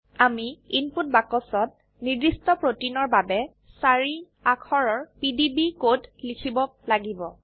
আমি ইনপুট বাক্সত নিৰ্দিষ্ট প্ৰোটিনৰ বাবে চাৰি অাক্ষৰৰ পিডিবি কোড লিখিব লাগিব